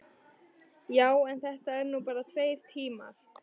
Já, en þetta eru nú bara tveir tímar.